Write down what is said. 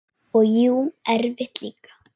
Og jú, erfitt líka.